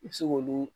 I bɛ se k'olu